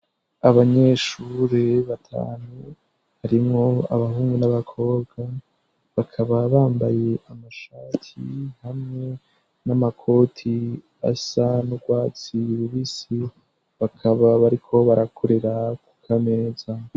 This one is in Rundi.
Abanyeshure batanu harimwo abahungu n'abakobwa bakaba bambaye amashati hamwe n'amakoti asa n'ugwatsi rubisi bakaba bariko barakorera kuka meza.